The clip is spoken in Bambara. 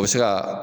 O bɛ se ka